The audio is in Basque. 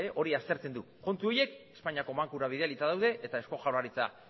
hori aztertzen du kontu horiek espainiako bankura bidalita daude eta eusko jaurlaritza